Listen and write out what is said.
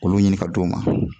Olu ɲini ka d'u ma